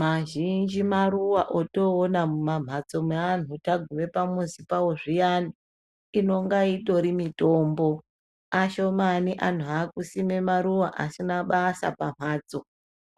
mazhinji maruwa otoona mumamhatso meanhu taguma pamuzi pavo zviyani inonga itori mitombo kashomani anhu akusima maruwa asina basa pamhatso